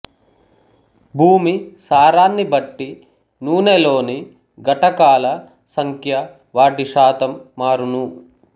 భూమి సారాన్ని బట్టి నూనెలోని ఘటకాల సంఖ్య వాటి శాతం మారును